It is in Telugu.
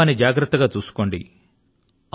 మీ కుటుంబాన్ని జాగ్రత్త గా చూసుకోండి